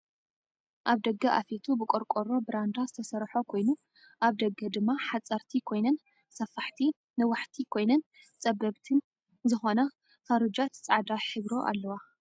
ኣብ ደገ ኣፌቱ ብቆርቆሮ ብራንዳ ዝተሰርሖ ኮይኑ ኣብ ደገ ድማ ሓፀርቲ ኮይነን ሰፋሕቲነ ነዋሕቲ ኮይነን ፀበብትን ዝኮነ ፉሩጃት ፃዕዳ ሕብሮ ኣለዋ።